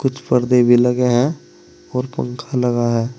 पर्दे भी लगे हैं और पंखा लगा है।